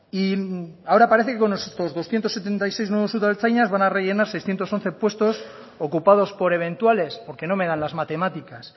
y ahora parece que con estos doscientos setenta y seis nuevos udaltzainas van a rellenar seiscientos once puestos ocupados por eventuales porque no me dan las matemáticas